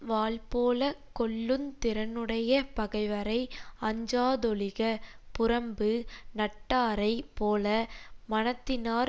வாள்போலக் கொல்லுந் திறனுடைய பகைவரை அஞ்சாதொழிக புறம்பு நட்டாரைப் போல மனத்தினாற்